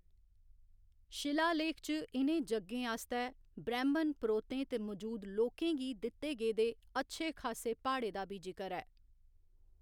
शिलालेख च इ'नें यज्ञें आस्तै ब्रैह्‌‌मन पुरोह्तें ते मजूद लोकें गी दित्ते गेदे अच्छे खासे भाड़े दा बी जिकर ऐ।